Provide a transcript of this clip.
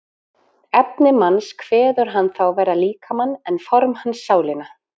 efni manns kveður hann þá vera líkamann en form hans sálina